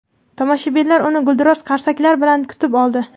tomoshabinlar uni gulduros qarsaklar bilan kutib oldi.